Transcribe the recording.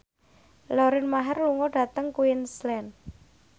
Lauren Maher lunga dhateng Queensland